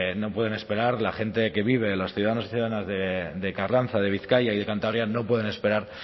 no pueden esperar la gente que vive en los ciudadanos y ciudadanas de carranza de bizkaia y de cantabria no pueden esperar